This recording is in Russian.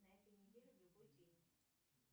на этой неделе в любой день